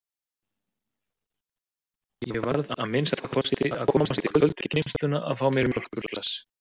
Ég varð að minnsta kosti að komast í köldu geymsluna að fá mér mjólkurglas!